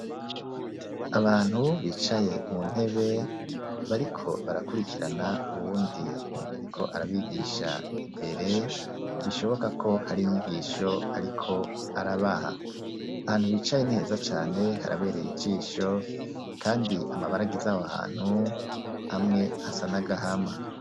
Abantu bicaye mu ntebe bariko barakurikirana uwundi ariko arabigisha mbere bishoboka ko hari inyigisho ariko arabaha ahantu bicaye niheza cane harabereye ijisho kandi amabara agize aho hantu amwe asa n`agahama .